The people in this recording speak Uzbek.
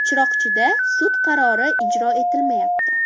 Chiroqchida sud qarori ijro etilmayapti.